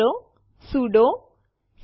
આપણે ફાઈલ faqટીએક્સટી જોઈ નથી શકતા